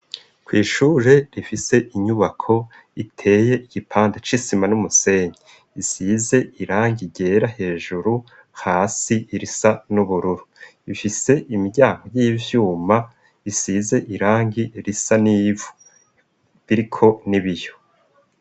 Kw'ishure rifise inyubako iteye igipande c'isima n'umusenyi isize irangi ryera hejuru hasi risa n'ubururu ifise imiryango y'ivyuma isize irangi risa n'ivu biriko n'ibiyo.